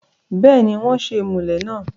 bẹ́ẹ̀ni, wọ́n ṣe ìmùlẹ̀ náà